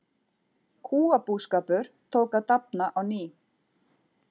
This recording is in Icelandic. Kúabúskapur tók að dafna á ný.